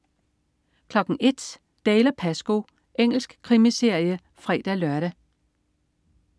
01.00 Dalziel & Pascoe. Engelsk krimiserie (fre-lør)